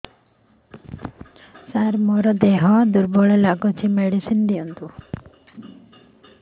ସାର ମୋର ଦେହ ଦୁର୍ବଳ ଲାଗୁଚି ମେଡିସିନ ଦିଅନ୍ତୁ